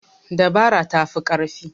Dabara ta fi ƙarfi.